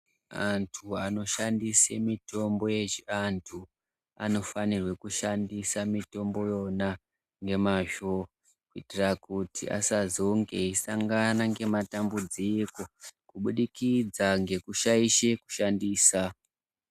Antu anoshandisa mitombo yechiantu anofanirwe kushandise mitombo yona ngemazvo kuitire kuti vasazonge veisangana nematambudziko kubudikidza ngekushaisha kuishandisa.